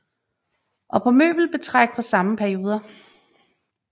Og på møbelbetræk fra samme perioder